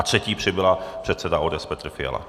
A třetí přibyla - předseda ODS Petr Fiala.